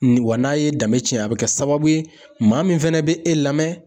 Ni wa n'a ye danni tiɲɛ a bɛ kɛ sababu ye, maa min fɛnɛ bɛ e lamɛn.